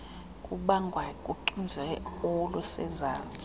kubangwa luxinzelelo olusezantsi